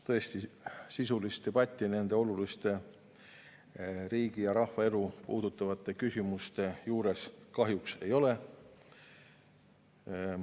Tõesti, sisulist debatti nende oluliste, riigi ja rahva elu puudutavate küsimuste juures kahjuks ei ole.